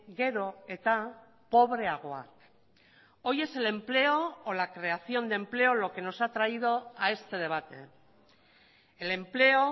gero eta pobreagoak hoy es el empleo o la creación de empleo lo que nos ha traído a este debate el empleo